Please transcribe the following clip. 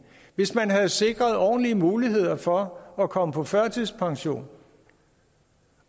hvis man havde sikret ordentlige muligheder for at komme på førtidspension